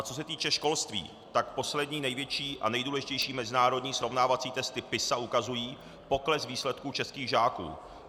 A co se týče školství, tak poslední největší a nejdůležitější mezinárodní srovnávací testy PISA ukazují pokles výsledků českých žáků.